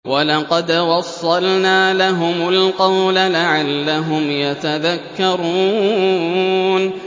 ۞ وَلَقَدْ وَصَّلْنَا لَهُمُ الْقَوْلَ لَعَلَّهُمْ يَتَذَكَّرُونَ